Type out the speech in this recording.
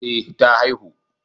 Eh ta haihu